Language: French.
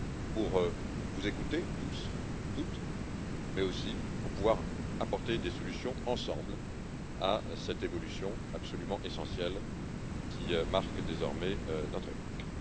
pour vous écouter tous et toutes, mais aussi pour pouvoir apporter des solutions ensemble à cette évolution absolument essentielle qui marque désormais notre époque.